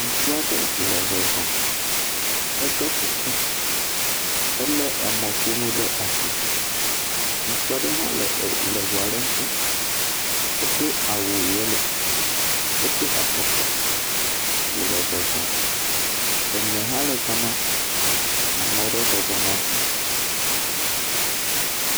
Ŋutsu aɖe le zɔzɔm. Eɖɔ kuku. Ele kameƒonu ɖe asi. Ŋutsu aɖe hã le eŋua ɖe ŋuti. Edo awu yelo. Edo afɔkpa wo le zɔzɔm. Ene ha le ga ma. Ame aɖe bɔbɔnɔ dzi.